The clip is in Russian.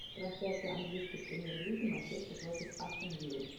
трансляция английской премьер лиги манчестер против астон виллы